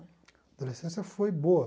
A adolescência foi boa.